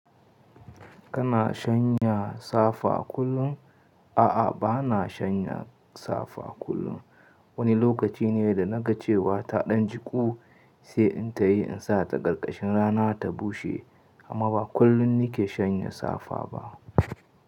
Kana shanya safa kullum? A'a, bana shanya safa kullum. Wani lokaci ne da na ga cewa ta ɗan jiƙu sai in tayi in sa ta ƙarƙashin rana ta bushe amma ba kullum ni ke shanya safa ba.